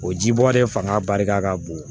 O ji bɔ de fanga barika ka bon